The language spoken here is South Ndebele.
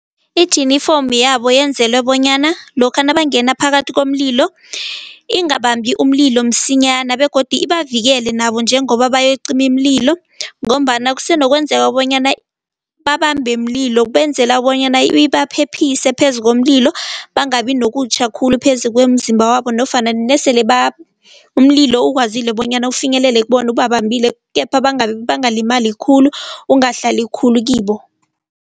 Ijinifomu yabo yenzelwe bonyana lokha nabangena phakathi komlilo ingabambi umlilo msinyana begodu ibavikele nabo njengoba bayokucima imililo ngombana kusenokwenzeka bonyana babambe mlilo benzela bonyana ibaphephise phezu komlilo bangabi nokutjha khulu phezu kwemizimba yabo nofana nasele umlilo ukwazile bonyana ufinyelele ubambile kepha bangalimali khulu ungahlali khulu kibo.